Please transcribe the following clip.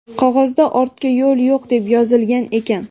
Qog‘ozda "Ortga yo‘l yo‘q" deb yozilgan ekan.